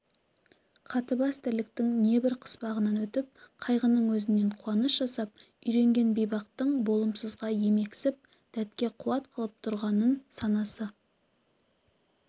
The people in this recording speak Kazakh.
қатыбас тірліктің небір қыспағынан өтіп қайғының өзінен қуаныш жасап үйренген бейбақтың болымсызға емексіп дәтке қуат қылып тұрғанын санасы